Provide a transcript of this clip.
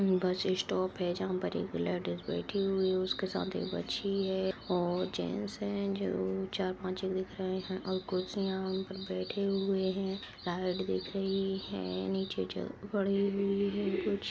यह एक bus stop है जहाँ पर एक लेडिस बैठी हुई उसके सथ एक बच्ची है और जेन्ट्स हैं जो चार-पाँच दिख रहें हैं और कुर्सियाँ उनपर बैठे हुए हैं लाइट दिख रही है नीचे जो पड़ी हुई है कुछ।